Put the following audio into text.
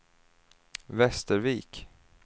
Västervik